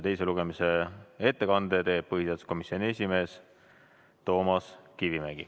Teise lugemise ettekande teeb põhiseaduskomisjoni esimees Toomas Kivimägi.